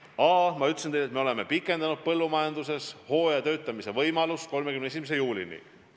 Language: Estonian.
A: ma ütlesin teile, et me oleme pikendanud põllumajanduses hooajatöötamise võimalust 31. juulini.